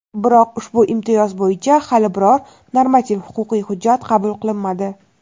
biroq ushbu imtiyoz bo‘yicha hali biror-bir normativ-huquqiy hujjat qabul qilinmadi.